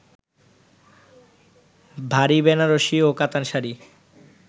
ভারী বেনারসি ও কাতান শাড়ি